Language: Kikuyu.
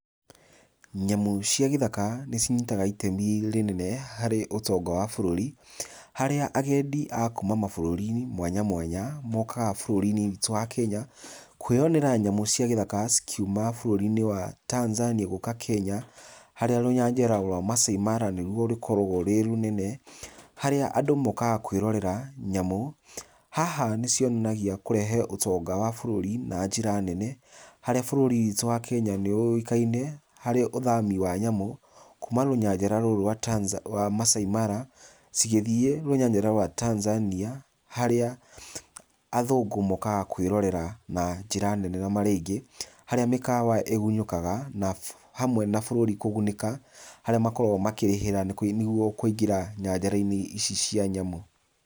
Nyamũ cia gĩthaka, nĩ cinyitaga itemi rĩnene harĩ ũtonga wa bũrũri. Harĩa agendi a kuuma mabũrũri-inĩ mwanya mwanya, mokaga bũrũri-inĩ witũ wa Kenya, kwĩyonera nyamũ cia gĩthaka cikiuma bũrũri-inĩ wa Tanzania gũũka Kenya, harĩa rũnyanjara rwa Maasai Mara nĩ ruo rũkoragwo rwĩ rũnene, harĩa andũ mokaga kwĩrorera nyamũ. Haha nĩ cionagia kũreha ũtonga wa bũrũri na njĩra nene, harĩa bũrũri witũ wa Kenya nĩ ũĩkaine harĩ ũthami wa nyamũ, kuuma rũnyanjara rũu rwa Tanzania wa Maasai Mara cigĩthiĩ rũnyanjara rwa Tanzania, harĩa athũngũ mokaga kwĩrorera na njĩra nene na marĩ aingĩ, harĩa mĩkawa ĩgunyũkaga, na hamwe na bũrũri kũgunĩka, harĩa makoragwo makĩrĩhĩra nĩguo kũingĩra nyanjara-inĩ ici cia nyamũ.